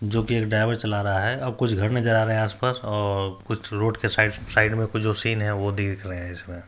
जो की एक ड्राइवर चला रहा है और कुछ घर नजर आ रहे हैं आसपास और कुछ रोड के साइड साइक में कुछ जो सीन है वह देख रहे हैं इसमें --